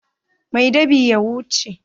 Mai dab'in ya wuce.